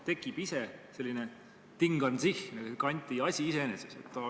Tekib selline Ding an sich, Kanti asi iseeneses.